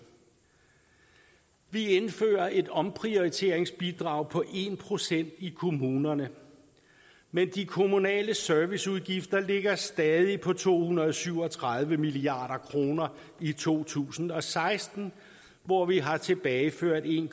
vi indfører et omprioriteringsbidrag på en procent i kommunerne men de kommunale serviceudgifter ligger stadig på to hundrede og syv og tredive milliard kroner i to tusind og seksten hvor vi har tilbageført en